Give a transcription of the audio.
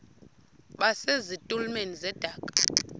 base zitulmeni zedaka